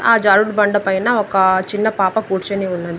ఆ జారుడు బండ పైన ఒకా చిన్న పాప కూర్చుని ఉన్నది.